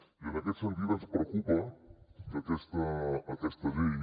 i en aquest sentit ens preocupa que aquesta llei